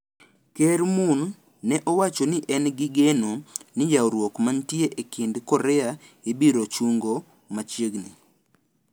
Ker Moon ne owacho ni en gi geno ni ywaruok mantie e kind Korea ibiro chungo machiegni.